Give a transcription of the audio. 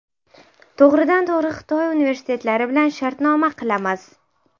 To‘g‘ridan to‘g‘ri Xitoy universitetlari bilan shartnoma qilamiz!